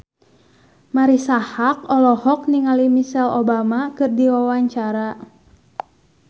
Marisa Haque olohok ningali Michelle Obama keur diwawancara